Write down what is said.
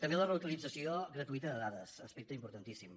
també la reutilització gratuïta de dades aspecte importantíssim